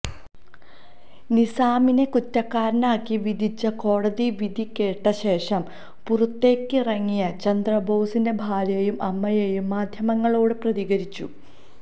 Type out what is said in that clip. നിസാമിനെ കുറ്റക്കാരനായി വിധിച്ച കോടതിവിധി കേട്ട ശേഷം പുറത്തേക്കിറങ്ങിയ ചന്ദ്രബോസിന്റെ ഭാര്യയും അമ്മയും മാധ്യമങ്ങളോട് പ്രതികരിച്ചു